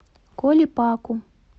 коле паку